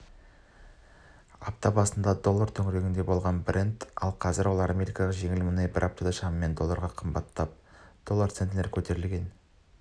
апта басында доллар төңірегінде болған брент қазір ал америкалық жеңіл мұнай бір аптада шамамен долларға қымбаттап доллар центтен көтерілген